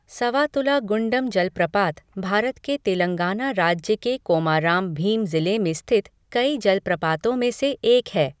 सवातुला गुण्डम जलप्रपात भारत के तेलंगाना राज्य के कोमाराम भीम ज़िले में स्थित कई जलप्रपातों में से एक है।